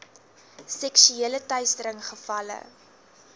seksuele teistering gevalle